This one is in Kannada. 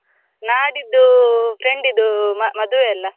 ನಾಡಿದ್ದು friend ಇದ್ದು ಮ~ ಮದ್ವೆ ಅಲ್ಲ?